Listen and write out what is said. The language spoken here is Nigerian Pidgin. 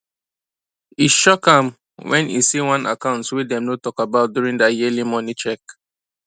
e shock am when e see one account wey dem no talk about during their yearly money check